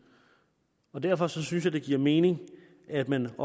og derfor synes jeg det giver mening at man